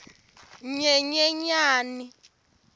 nyenyenyani